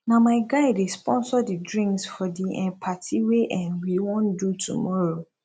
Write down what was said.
na my guy dey sponsor di drinks for di um party wey um we wan do tomorrow